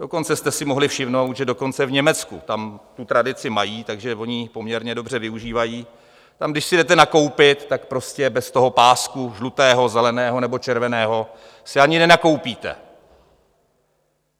Dokonce jste si mohli všimnout, že dokonce v Německu, tam tu tradici mají, takže oni ji poměrně dobře využívají, tam, když si jdete nakoupit, tak prostě bez toho pásku žlutého, zeleného nebo červeného si ani nenakoupíte.